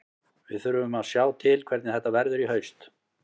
Við þurfum að sjá til hvernig þetta verður í haust.